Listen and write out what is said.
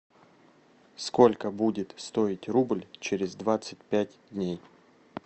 сколько будет стоить рубль через двадцать пять дней